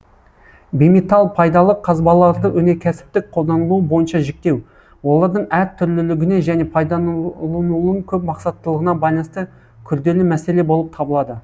бейметалл пайдалы қазбаларды өнеркәсіптік қолданылуы бойынша жіктеу олардың әр түрлілігіне және пайдаланылуының көп мақсаттылығына байланысты күрделі мәселе болып табылады